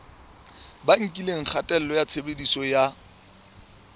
bakileng kgatello ya tshebediso ya